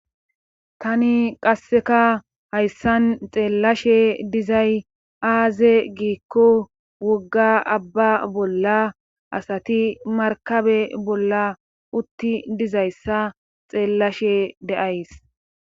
Tani qasseka hayssan xeellashe dizay aaze giikko wogga abba bolla asati markabe bolla utti dizayssa xeellashe de7ays.